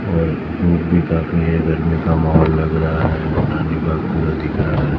का माहौल लग रहा है दिख रहा है।